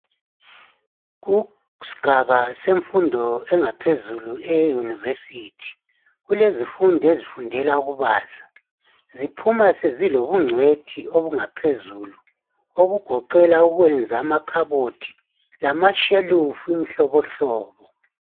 Kusigaba semfundo engaphezulu e university, kulezifundi ezifundela ukubaza, ziphuma sezilobungcwethi obungaphezulu okugoqela ukwenza amakhabothi lamashelufu imihlobohlobo